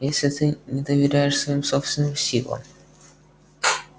если ты не доверяешь своим собственным силам